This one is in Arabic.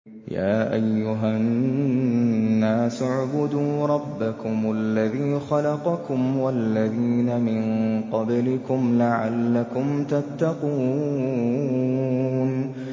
يَا أَيُّهَا النَّاسُ اعْبُدُوا رَبَّكُمُ الَّذِي خَلَقَكُمْ وَالَّذِينَ مِن قَبْلِكُمْ لَعَلَّكُمْ تَتَّقُونَ